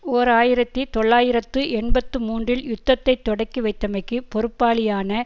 ஓர் ஆயிரத்தி தொள்ளாயிரத்து எண்பத்தி மூன்றில் யுத்தத்தை தொடக்கிவைத்தமைக்கு பொறுப்பாளியான